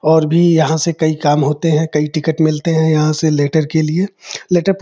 और भी यहाँ से कई काम होते है कई टिकेट मिलते हैं। यहाँ से लैटर के लिए लैटर --